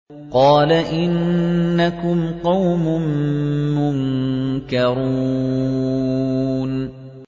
قَالَ إِنَّكُمْ قَوْمٌ مُّنكَرُونَ